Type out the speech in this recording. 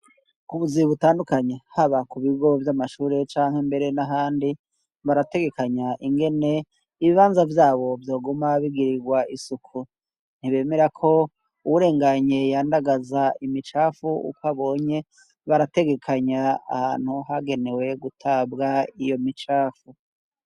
K'ubuzi butandukanye haba ku bigo vy'amashure canke mbere n'ahandi, barategekanya ingene ibibanza vyabo vyoguma bigirirwa isuku, ntibemerako uwurenganye yandagaza imicafu ukwabonye, barategekanya ahantu hagenewe gutabwa iyo micafu.